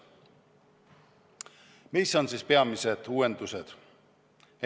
Mis on siis peamised uuendused?